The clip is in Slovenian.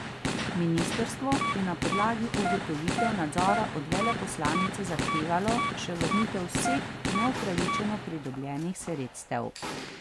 Ministrstvo je na podlagi ugotovitev nadzora od veleposlanice zahtevalo še vrnitev vseh neupravičeno pridobljenih sredstev.